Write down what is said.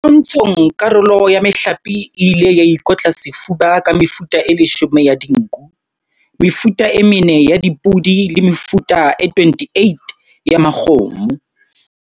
Dipontshong karolo ya mehlape e ile ya ikotla sefuba ka mefuta e leshome ya dinku, mefuta e mene ya dipodi le mefuta e 28 ya makgomo.